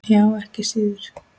Já, ekki síður.